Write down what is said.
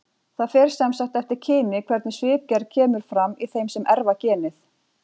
Það fer sem sagt eftir kyni hvernig svipgerð kemur fram í þeim sem erfa genið.